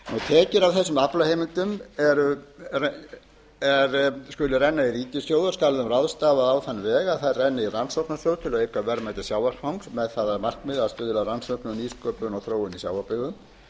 tekjur af þessum aflaheimildum skulu renna í ríkissjóð og skal ráðstafa á þann veg að þær renni í rannsóknarsjóð til að auka verðmæti sjávarfangs með það að markmiði að stuðla að rannsóknum nýsköpun og þróun í sjávarbyggðum